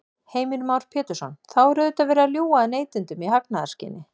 Heimir Már Pétursson: Þá er auðvitað verið að ljúga að neytendum í hagnaðarskyni?